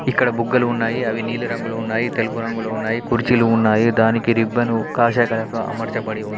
ఇక్కడ బుగ్గలు ఉన్నాయి అవి నీలి రంగులో ఉన్నాయి తెలుపు రంగులో ఉన్నాయి. కుర్చీలు ఉన్నాయి దానికి రిబ్బను కాషాయ కలర్లో అమర్చబడి ఉంది.